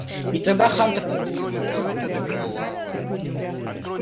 и тогда хантер обратился к нему сам